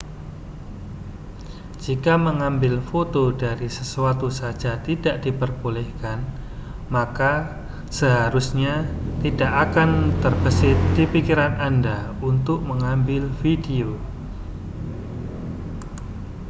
jika mengambil foto dari sesuatu saja tidak diperbolehkan maka seharusnya tidak akan terbersit di pikiran anda untuk mengambil video